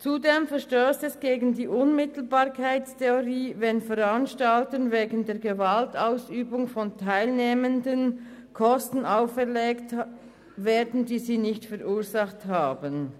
Zudem verstösst es gegen die Unmittelbarkeitstheorie, wenn Veranstaltern Kosten auferlegt werden, die diese nicht verursacht haben.